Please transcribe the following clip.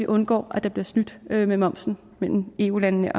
undgår at der bliver snydt med med momsen mellem eu landene